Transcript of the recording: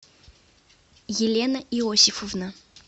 елена иосифовна